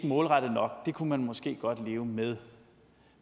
målrettet nok kunne man måske leve med